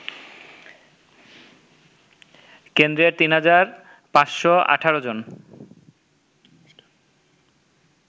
কেন্দ্রের ৩৫১৮ জন